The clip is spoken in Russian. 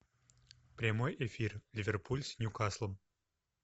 прямой эфир ливерпуль с ньюкаслом